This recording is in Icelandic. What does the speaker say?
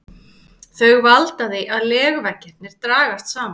Þau valda því að legveggirnir dragast saman.